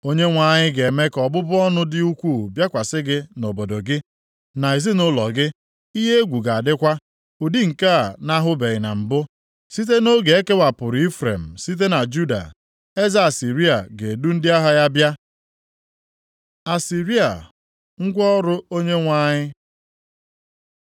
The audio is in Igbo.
Onyenwe anyị ga-eme ka ọbụbụ ọnụ dị ukwuu bịakwasị gị na obodo gị, na ezinaụlọ gị. Ihe egwu ga-adịkwa, ụdị nke a na-ahụbeghị mbụ, site nʼoge e kewapụrụ Ifrem site na Juda. Eze Asịrịa ga-edu ndị agha ya bịa. + 7:17 \+xt 2Ih 28:19-20\+xt*” Asịrịa, ngwa ọrụ Onyenwe anyị